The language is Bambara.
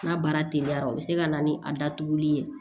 N'a baara teliyara o be se ka na ni a datuguli ye